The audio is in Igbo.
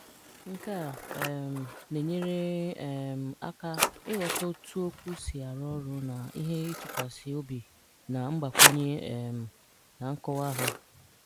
Nke a um na-enyere um aka ịghọta otu okwu si arụ ọrụ na ihe itụkwasị obi na mgbakwunye um na nkọwa ha.